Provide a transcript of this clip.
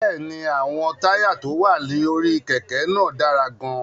Bẹ́ẹ̀ ni, àwọn táyà tó wà lórí kẹ̀kẹ́ náà dára gan-an.